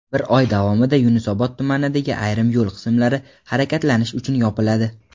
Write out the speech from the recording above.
bir oy davomida Yunusobod tumanidagi ayrim yo‘l qismlari harakatlanish uchun yopiladi:.